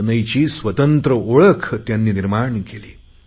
सनईची स्वतंत्र ओळख त्यांनी निर्माण केली